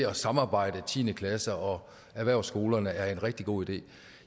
at samarbejde tiende klasse og erhvervsskolerne er en rigtig god idé